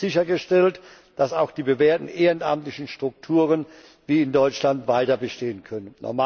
Damit wird sichergestellt, dass auch die bewährten ehrenamtlichen Strukturen wie in Deutschland weiter bestehen können.